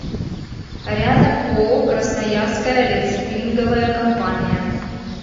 рядом ооо красноярская рециклинговая компания